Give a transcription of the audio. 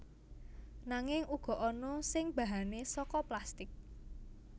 Nanging uga ana sing bahane saka plastik